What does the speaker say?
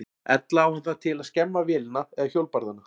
Ella á hann það til að skemma vélina eða hjólbarðana.